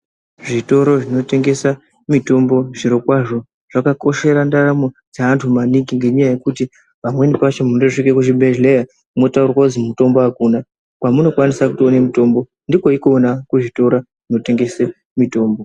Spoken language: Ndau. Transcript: Zvitoro zvinotengesa mitombo zviro kwazvo zvakakoshera ndaramo dzevantu maningi ngokuti pamweni pacho munosvike kucbibhedhlera motaurirwe kuti mutombo akuna kwamuno kwanisa kutoone mitombo ndiko ikona kune zvitoro zvinotengesa mitombo.